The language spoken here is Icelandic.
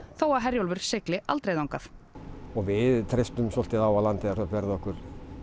þó að Herjólfur sigli aldrei þangað við treystum á að Landeyjahöfn verði okkur